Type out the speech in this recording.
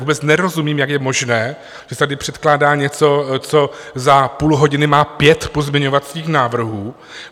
Vůbec nerozumím, jak je možné, že se tady předkládá něco, co za půl hodiny má pět pozměňovacích návrhů.